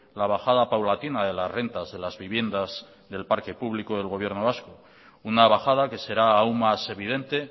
la bajada paulatina de las rentas de las viviendas del parque público del gobierno vasco una bajada que será aún más evidente